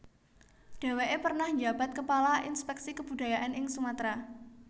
Deweke pernah njabat kepala Inspeksi Kebudayaan ing Sumatera